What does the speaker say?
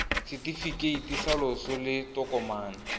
setefikeiti sa loso ke tokomane